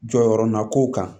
Jɔyɔrɔ nakun kan